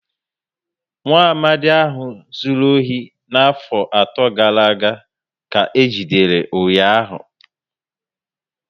Nwaamadi ahụ zụrụ ohi na afo ato gàrà aga ka eji dere ụnyaahụ